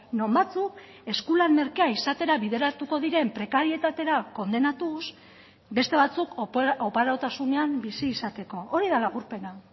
non batzuk eskulan merkea izatera bideratuko diren prekarietatera kondenatuz beste batzuk oparotasunean bizi izateko hori da laburpena